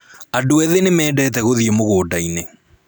Andũ ethĩ nĩ mendete gũthiĩ mũgũnda-inĩ